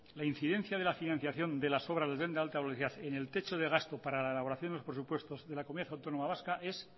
la incidencia de la financiación de las obras del tren de alta velocidad en el techo de gasto para la elaboración de los presupuestos de la comunidad autónoma vasca es